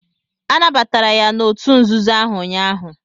Anabatara ya n'òtù nzuzo ahụ ụnyaahụ.